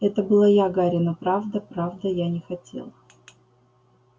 это была я гарри но правда правда я не хотела